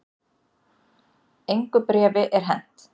Engu bréfi er hent